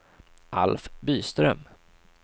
Alf Byström